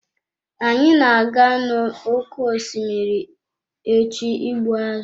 Anyị na-aga n'oké osimiri echi ịgbu azụ̀.